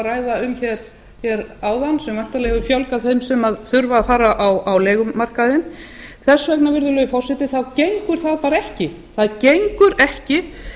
ræða um hér áðan sem væntanlega hefur fjölgað þeim sem þurfa að fara á leigumarkaðinn þess vegna virðulegi forseti gengur það bara ekki